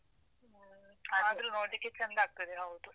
ಆದ್ರೂ ನೋಡ್ಲಿಕ್ಕೆ ಚಂದಾಗ್ತದೆ, ಹೌದು.